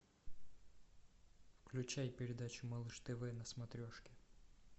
включай передачу малыш тв на смотрешке